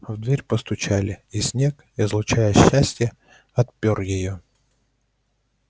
в дверь постучали и снегг излучая счастье отпёр её